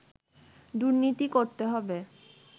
দুর্নীতি করতে হবে